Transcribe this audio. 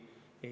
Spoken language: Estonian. Aitäh!